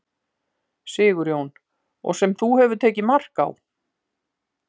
Sigurjón: Og sem þú hefur tekið mark á?